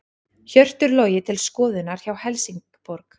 Hjörtur Logi til skoðunar hjá Helsingborg